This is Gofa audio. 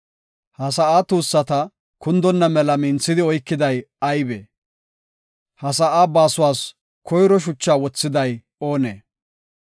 Ha sa7aa tuussata kundonna mela minthidi oykiday aybee? Ha sa7aa baasuwas koyro shuchaa wothiday oonee?